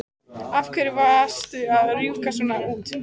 Af hverju varstu að rjúka svona út?